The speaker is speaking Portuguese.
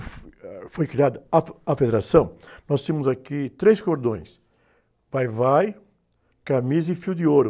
ah, foi criada a fe, a Federação, nós tínhamos aqui três cordões, Vai-Vai, Camisa e Fio de Ouro.